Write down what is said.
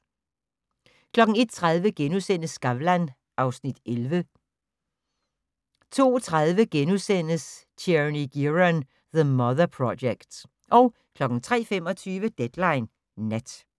01:30: Skavlan (Afs. 11)* 02:30: Tierney Gearon: The Mother Project * 03:25: Deadline Nat